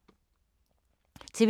TV 2